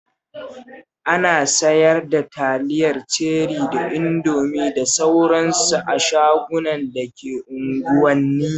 Ana sayar da taliyar Ceri da Indomi da sauran su a shagunan da ke unguwanni.